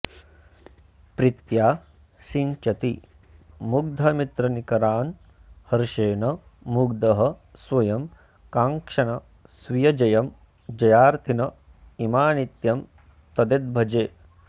प्रीत्या सिञ्चति मुग्धमित्रनिकरान् हर्षेण मुग्धः स्वयं काङ्क्षन् स्वीयजयं जयार्थिन इमान्नित्यं तदेतद्भजे